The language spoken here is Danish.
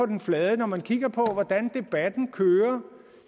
den flade når man kigger på hvordan debatten kører